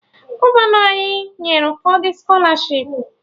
Gọvanọ ọhụrụ anyị nyere ụfọdụ skọlarshipu